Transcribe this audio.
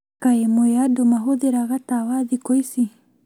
Kaĩ mwĩ andũ mahũthĩraga tawa thikũ ici?